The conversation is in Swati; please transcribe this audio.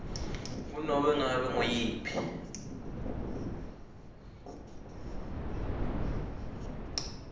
kunobe ngabe nguyiphi